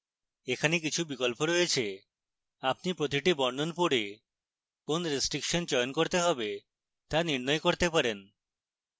এখানে কিছু বিকল্প রয়েছে আপনি প্রতিটির বর্ণন পড়ে কোন restriction চয়ন করতে হবে তা নির্ণয় করতে পারেন